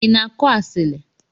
Ina akụ asili?